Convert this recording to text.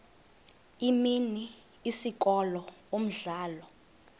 imini isikolo umdlalo